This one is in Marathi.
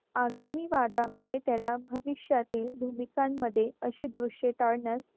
आगामी वादामुळे त्याला भविष्यातील भूमिकांमध्ये असे दृश्य टाळण्यास